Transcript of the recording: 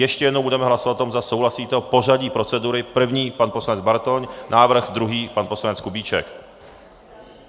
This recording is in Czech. Ještě jednou, budeme hlasovat o tom, zda souhlasíte, o pořadí procedury, první pan poslanec Bartoň, návrh druhý - pan poslanec Kubíček.